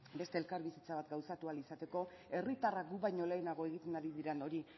beste elkarbizitza bat gauzatu ahal izateko herritarrak guk baino lehenago egiten diren hori